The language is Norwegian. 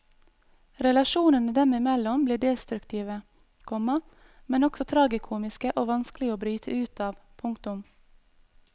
Relasjonene dem imellom blir destruktive, komma men også tragikomiske og vanskelig å bryte ut av. punktum